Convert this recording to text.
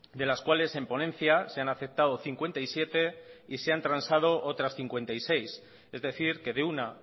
de las cuales en ponencia se han aceptado cincuenta y siete y se han transado otras cincuenta y seis es decir que de una